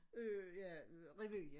Øh ja øh revy ja